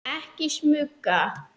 Ekki smuga!